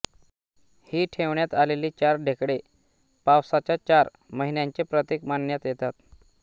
ही ठेवण्यात आलेली चार ढेकळे पावसाच्या चार महिन्यांचे प्रतीक मानण्यात येतात